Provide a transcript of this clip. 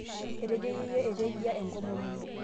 etejo yeyio etejia enkomom ino